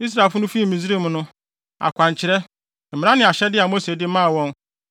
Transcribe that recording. Israelfo no fii Misraim no, akwankyerɛ, mmara ne ahyɛde a Mose de maa wɔn